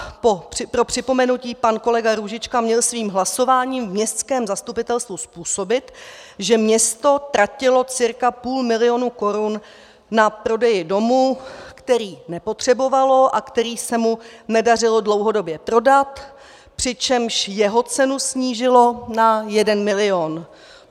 Pro připomenutí: Pan kolega Růžička měl svým hlasováním v městském zastupitelstvu způsobit, že město tratilo cca půl milionu korun na prodeji domu, který nepotřebovalo a který se mu nedařilo dlouhodobě prodat, přičemž jeho cenu snížilo na 1 milion.